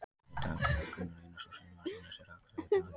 Í dag er það Gunnar Einarsson sem að sýnir á sér hina hliðina.